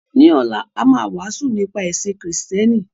Ní ọ̀la, a máa wàásù nípa ẹ̀sìn Kristẹni.